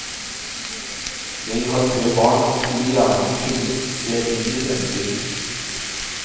Jeg har tre barn og skulle gjerne kunnet se inn i fremtiden.